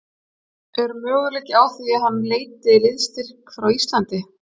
Er möguleiki á því að hann leiti í liðsstyrk frá Íslandi?